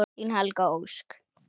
Þín Helga Ósk.